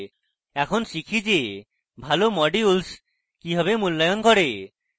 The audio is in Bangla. এখন শিখি যে ভালো modules কিভাবে মূল্যায়ন করে